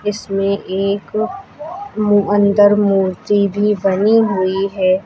इसमें एक मू अंदर मूर्ति भी बनी हुई है।